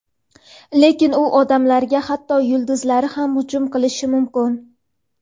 Lekin u odamlarga hatto kunduzlari ham hujum qilishi mumkin.